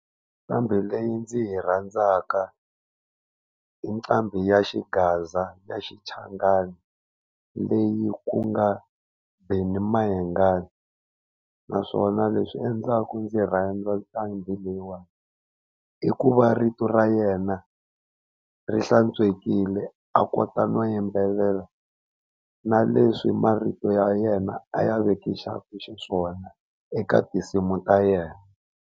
Nqambi leyi ndzi yi rhandzaka i nqambi ya xigaza ya xichangani leyi ku nga Benny Mayengani, naswona leswi endlaku ndzi rhandza nqambi leyiwani i ku va rito ra yena ri hlantswekile a kota no yimbelela, na leswi marito ya yena a ya vekisaku xiswona eka tinsimu ta yena.